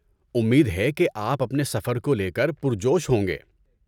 امید ہے کہ آپ اپنے سفر کو لے کر پرجوش ہوں گے۔